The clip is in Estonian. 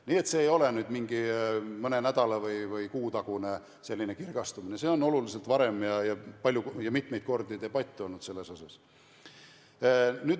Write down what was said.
Nii et see ei ole nüüd mingi mõne nädala või kuu tagune kirgastumine, vaid sellel teemal on debatte olnud oluliselt varem ja mitmeid kordi.